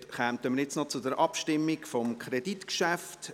Damit kommen wir zur Abstimmung zum Kreditgeschäft.